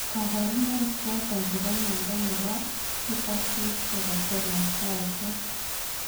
Kabarunaik choton chebo mnyondo nebo subacute cerebellar ko achon ?